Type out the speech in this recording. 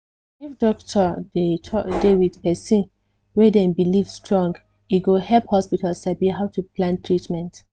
if doctor talk um with person wey dem believe strong e go help hospital sabi how to plan treatment